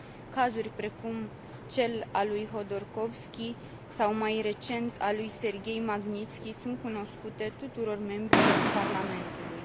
Cazuri precum cel al lui Hodorkovski, sau, mai recent, al lui Serghei Magnitski, sunt cunoscute tuturor membrilor Parlamentului.